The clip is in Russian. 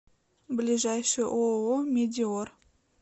ближайший ооо медеор